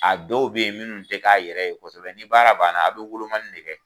A dɔw be yen minnu ti k'a yɛrɛ ye kosɛbɛ, ni baara banna a bi wolomali de kɛ